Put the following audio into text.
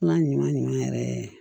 Ala ɲuman ɲuman ɲuman yɛrɛ